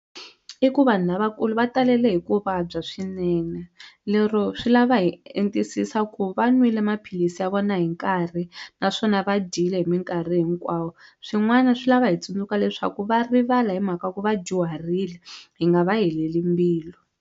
I ku vanhu lavakulu va talele hi ku vabya swinene lero swi lava hi entisisa ku va nwile maphilisi ya vona hi nkarhi naswona va dyile hi minkarhi hinkwawo swin'wana swi lava hi tsundzuka leswaku va rivala hi mhaka ku va dyuharile hi nga va heleli mbilu.